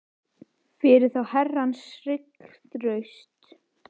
rétttrúnaðarkirkjan leit svo á að allir biskupar væru erfingjar að valdi péturs